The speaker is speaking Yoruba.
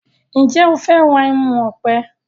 Njé o fè rà ẹmu òpè?